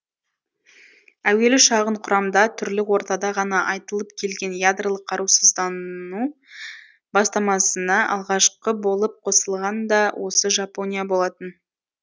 әуелі шағын құрамда түрлі ортада ғана айтылып келген ядролық қарусыздану бастамасына алғашқы болып қосылған да осы жапония болатын